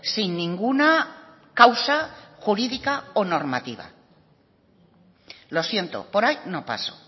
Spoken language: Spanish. sin ninguna causa jurídica o normativa lo siento por ahí no paso